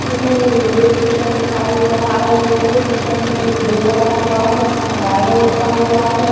इसमें एक railway station दिखाई दे रहा है। रेल्वे स्टेशन में एक बोर्ड लगा हुआ है जिसमे रायगढ़ लिखा हुआ है।